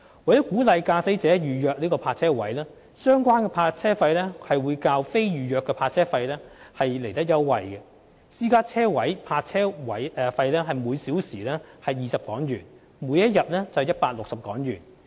為鼓勵駕駛者預約泊車位，相關泊車費會較非預約泊車位優惠，私家車泊車位為每小時20港元，每天為160港元。